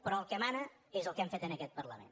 però el que mana és el que hem fet en aquest parlament